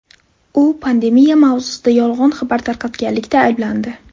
U pandemiya mavzusida yolg‘on xabar tarqatganlikda ayblandi.